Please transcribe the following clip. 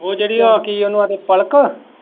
ਉਹ ਜਿਹੜੀ ਓ ਕਿ ਉਨੂੰ ਆਖਦੇ ਪਲਕ।